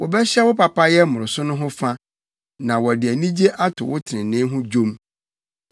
Wɔbɛhyɛ wo papayɛ mmoroso no ho fa, na wɔde anigye ato wo trenee ho dwom.